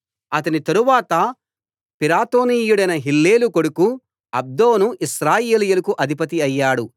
అతని తరువాత పిరాతోనీయుడైన హిల్లేలు కొడుకు అబ్దోను ఇశ్రాయేలీయులకు అధిపతి అయ్యాడు